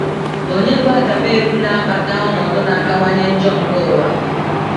Ònye bụ agamevu na - akpata ọnọdụ na - akawanye njọ nke ụwa?